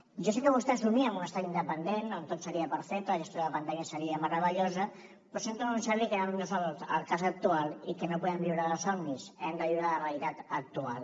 jo sé que vostè somia amb un estat independent on tot seria perfecte la gestió de la pandèmia seria meravellosa però sento anunciar li que no és el cas actual i que no podem viure de somnis hem de viure la realitat actual